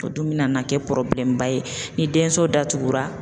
O dun bɛna na kɛ ba ye ni denso datugura.